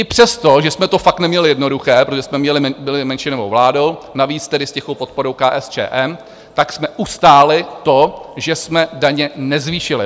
I přesto, že jsme to fakt neměli jednoduché, protože jsme byli menšinovou vládou, navíc tedy s tichou podporou KSČM, tak jsme ustáli to, že jsme daně nezvýšili.